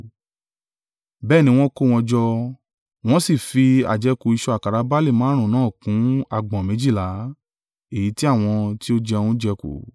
Bẹ́ẹ̀ ni wọ́n kó wọn jọ wọ́n sì fi àjẹkù ìṣù àkàrà barle márùn-ún náà kún agbọ̀n méjìlá, èyí tí àwọn tí ó jẹun jẹ kù.